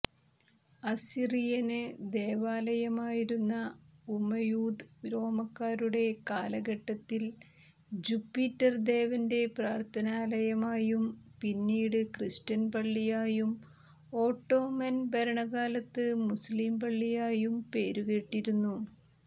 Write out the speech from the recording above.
അസ്സിറിയന് ദേവാലയമായിരുന്ന ഉമയൂദ് റോമാക്കാരുടെ കാലഘട്ടത്തിൽജുപിറ്റർ ദേവന്റെ പ്രാര്ത്ഥനാലയമായും പിന്നീട് ക്രിസ്റ്റ്യൻ പള്ളിയായുംഓട്ടോമൻ ഭരണകാലത്ത് മുസ്ലീംപള്ളിയായും പേരു കേട്ടിരുന്നു